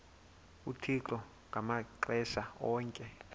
uthixo ngamaxesha onke